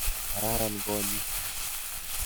Kararan konyit.